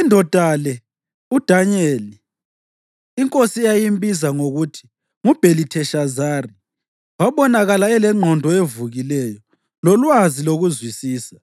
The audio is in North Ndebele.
Indoda le, uDanyeli, inkosi eyayimbiza ngokuthi nguBhelitheshazari, wabonakala elengqondo evukileyo, lolwazi lokuzwisisa,